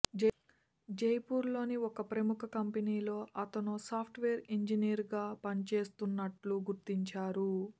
జైపూర్లోని ఓ ప్రముఖ కంపెనీలో అతనో సాఫ్ట్వేర్ ఇంజనీర్గా పనిచేస్తున్నట్టు గుర్తించారు